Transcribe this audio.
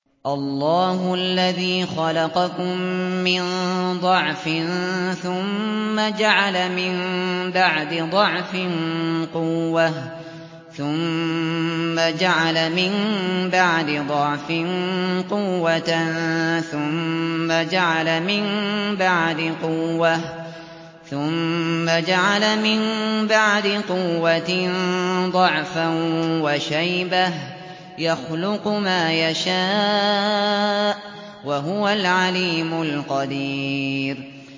۞ اللَّهُ الَّذِي خَلَقَكُم مِّن ضَعْفٍ ثُمَّ جَعَلَ مِن بَعْدِ ضَعْفٍ قُوَّةً ثُمَّ جَعَلَ مِن بَعْدِ قُوَّةٍ ضَعْفًا وَشَيْبَةً ۚ يَخْلُقُ مَا يَشَاءُ ۖ وَهُوَ الْعَلِيمُ الْقَدِيرُ